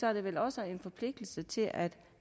er der vel også en forpligtelse til at